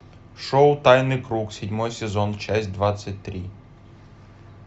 шоу тайный круг седьмой сезон часть двадцать три